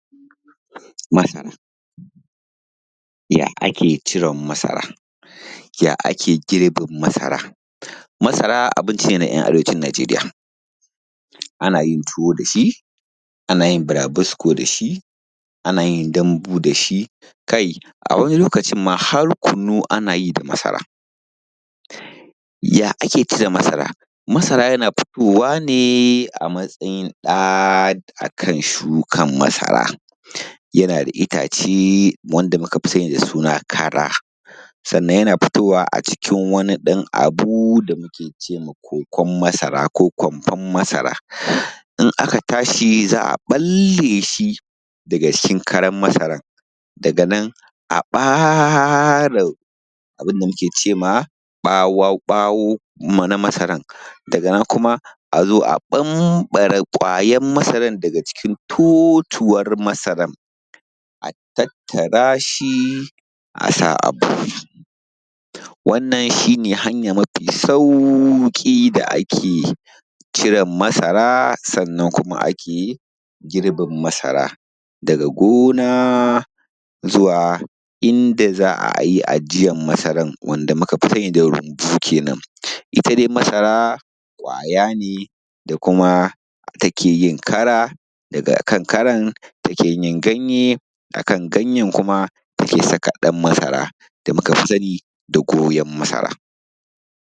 masara ya ake ciren masara ya ake girbin masara, masara abinci ne na ‘yan arewacin nijeriya ana yin tuwo da shi ana yin burabusko dashi ana yin dambu dashi kai a wani lokacin ma har kunu ana yi da masara ya ake cire masara, masara yana fitowa ne a matsayin ɗa akan shukan masara yana da itace wanda muka fi sani da suna kara sannan yana fitowa a cikin wani ɗan abu da muke cewa kokon masara ko kwamfan masara in aka tashi za a ɓalle shi daga cikin karan masaran daga nan sai a ɓare abunda muke ce mawa ɓawo ɓawon na masarar daga nan kuma azo a ɓamɓare ƙwayen masara daga cikin totuwar masaran a tattara shi a sa a buhu wannan shine hanya mafi sauƙi da ake ciren masara sannan kuma ake girbin masara daga gona zuwa inda za ayi ajiyar masaran wanda muka fi sani da rumbu kenan ita dai masara ƙwaya ne da kuma ta keyin kara daga kan karan take yin ganye a kan ganyen kuma take fidda ɗan masara da muka fi sani da goyon masara